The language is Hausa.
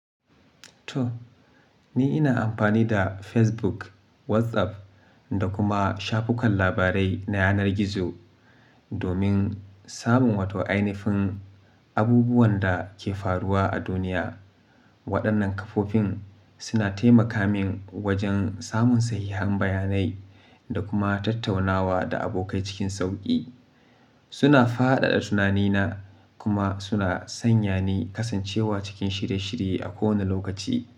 Toh ni ina amfani da Facebook, WhatsApp da kuma shafukan labarai na yanar gizo domin samun wata ainifin abubuwan da ke faruwa a duniya. Waɗannan kafofin suna taimaka min wajen samun sahihan bayanai da kuma tattaunawa da abokai cikin sauƙi. Suna fadada tunanina kuma suna sanya ni kasancewa cikin shirye-shirye a kowane lokaci.